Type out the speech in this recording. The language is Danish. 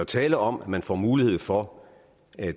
tale om at man får mulighed for at